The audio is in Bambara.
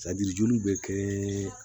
joli bɛ kɛ